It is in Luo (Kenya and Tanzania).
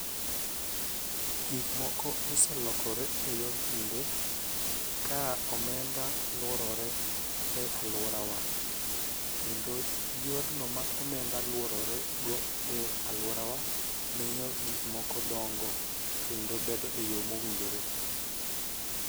Gik moko oselokore e yor kinde ka omenda luorore e aluorawa kendo yorno ma omenda luorore go e aluorawa miyo gik moko dongo kendo bedo e yo mowinjore